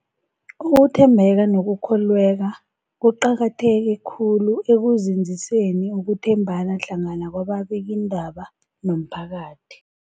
Ukuthembeka nokukholweka kuqakatheke khulu ekunzinziseni ukuthembana hlangana kwababikiindaba nomphakathi.